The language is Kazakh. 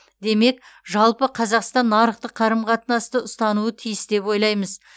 демек жалпы қазақстан нарықтық қарым қатынасты ұстануы тиіс деп ойлаймыз